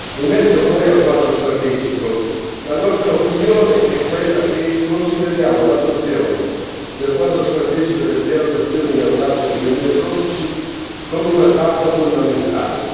In merito poi al quadro strategico, la nostra opinione è che consideriamo l'adozione del quadro strategico del piano d'azione inaugurato nel 2012 come una tappa fondamentale.